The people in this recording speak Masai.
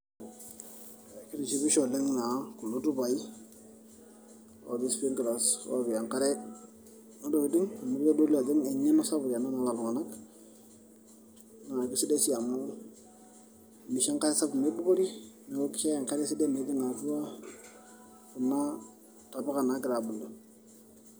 kitishipisho oleng naa kulo tupai otii sprinklers oopik enkare ntokitin amu kitodolu ajo eng'eno sapuk ena naata iltung'anak naa kisidai sii amu misho enkare sapuk mibukori neeku kisho enkre esidai metijing'a atua kuna tapuka naagira aabulu.